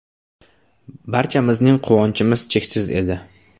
Barchamizning quvonchimiz cheksiz edi!